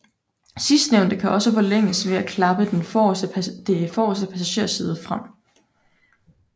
Sidstnævnte kan igen forlænges ved at klappe det forreste passagersæde frem